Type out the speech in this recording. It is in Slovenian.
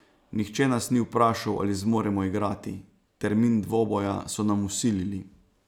Nihče nas ni vprašal, ali zmoremo igrati, termin dvoboja so nam vsilili.